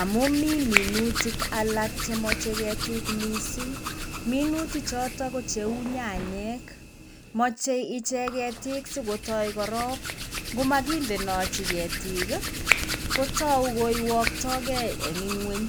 Amu mi minutik alak chemoche ketik mising, minuti choto ko cheu nyanyek, moche ichek ketik si kotoi korop, ngomakindenochi ketik ii, kotou ko wyoitokei eng inguny,